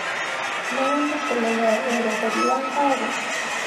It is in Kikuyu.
no wende kũmenya weretheri wa ngari